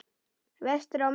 Vestur á Melum.